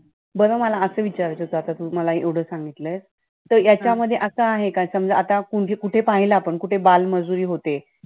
बरं मला मग असं विचारायचं होतं, आता तू मला एवढं मग सांगितलं, तर याच्यामध्ये मग आता असं आहे का समजा असं आहे का कु कुठे पाहिले पण कुठे बालमजुरी होते,